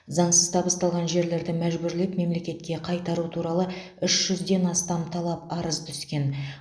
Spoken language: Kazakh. заңсыз табысталған жерлерді мәжбүрлеп мемлекетке қайтару туралы үш жүзден астам талап арыз түскен